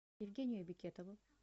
евгению бекетову